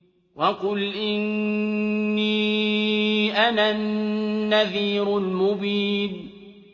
وَقُلْ إِنِّي أَنَا النَّذِيرُ الْمُبِينُ